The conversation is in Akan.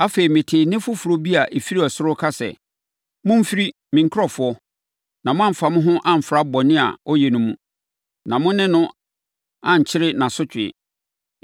Afei, metee nne foforɔ bi a ɛfiri ɔsoro ka sɛ, “Momfiri, me nkurɔfoɔ, na moamfa mo ho amfra bɔne a ɔyɛ no mu, na mo ne no ankyɛre nʼasotweɛ!